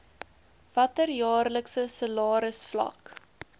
watter jaarlikse salarisvlak